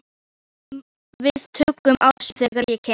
Svanþrúður, hringdu í Björnlaugu eftir áttatíu mínútur.